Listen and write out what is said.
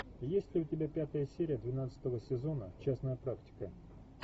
есть ли у тебя пятая серия двенадцатого сезона частная практика